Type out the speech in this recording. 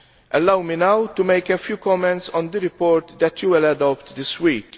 Allow me now to make a few comments on the report that you will adopt this week.